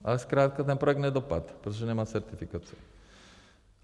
Ale zkrátka ten projekt nedopadl, protože nemá certifikaci.